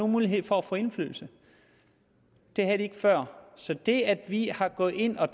mulighed for at få indflydelse det havde de ikke før så det at vi er gået ind og